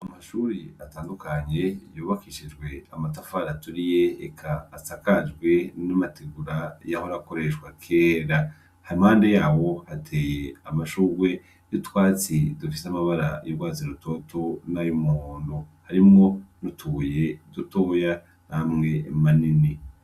Amashuri atandukanye yobakishijwe amatafari aturiye eka asakajwe n'amategura y'ahorakoreshwa kera hamande yawo hateye amashurwe y'utwatsi dufise amabara y'urwazirutoto n'ay'umuhontu harimwo nutubuye dutuuya namwe manini.